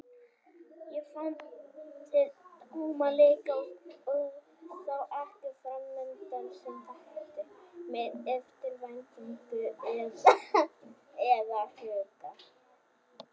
Ég fann til tómleika og sá ekkert framundan sem vakti mér eftirvæntingu eða áhuga.